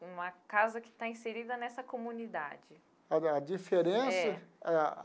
Uma casa que está inserida nessa comunidade. A a diferença? É.